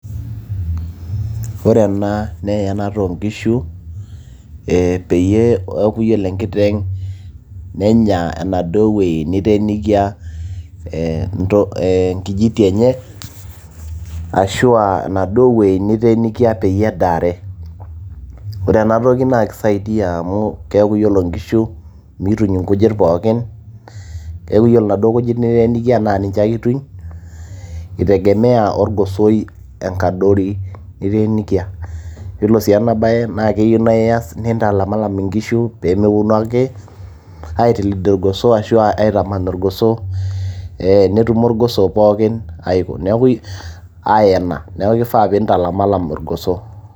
ore ena naa eyanata oonkishu ee peyie eeku yiolo enkiteng nenya enaduo wueji niteenikia eenkijiti enye ashua enaduo wueji niteenikia peyie edaare ore enatoki naa kisaidia amu Keeku yiolo inkishu miituny inkujit pookin keeku yiolo inaduo kujit niteenikia naa niche ake ituny itegemeya orgosoi enkadori niteenikia yiolo sii enabaye naa keyieu naa iyas nintalamilam inkishu peemeponu ake aitilid irgoso ashu aitaman irgoso ee netumo irgoso pookin aiko, ayena neeku kifaa pintalamilam irgoso.